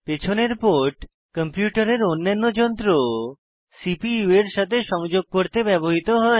পেছনের পোর্ট কম্পিউটারের অন্যান্য যন্ত্র সিপিইউ এর সাথে সংযোগ করতে ব্যবহৃত হয়